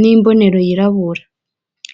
n'imbonero yirabira